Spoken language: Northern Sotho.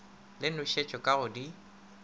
le nošetšo ka go di